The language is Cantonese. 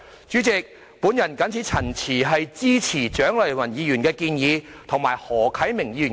主席，我謹此陳辭，支持蔣麗芸議員的議案及何啟明議員的修正案。